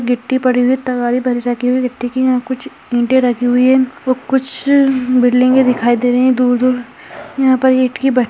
गिट्टी पड़ी हुई है तगारी भरी रखी हुई है कुछ ईंटे रखी हुई है वो कुछ बिल्डिंगें दिखाई दे रही है दूर दूर यहां पर इंट की भ --